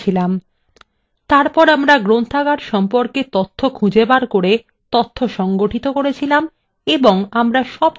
তারপর আমরা গ্রন্থাগার সম্পর্কে তথ্য খুঁজে বের করে সংগঠিত করেছিলাম এবং